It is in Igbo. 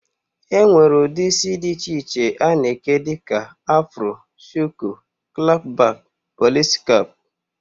E nwere ụdị isi dị iche iche a na-eke dịka afro, shuku, klap bak, polisi kap